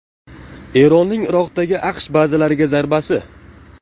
Eronning Iroqdagi AQSh bazalariga zarbasi.